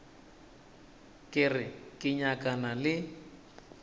ke re ke nyakana le